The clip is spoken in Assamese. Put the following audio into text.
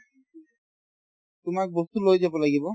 তোমাক বস্তু লৈ যাব লাগিব